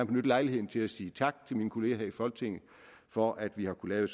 benytte lejligheden til at sige tak til mine kollegaer her i folketinget for at vi har kunnet